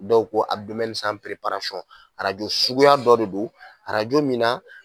Dɔw ko arajo suguya dɔ de do arajo min na